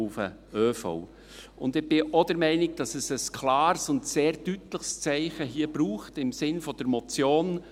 Und ich bin auch der Meinung, dass es hier ein klares und sehr deutliches Zeichen braucht im Sinne der Motion.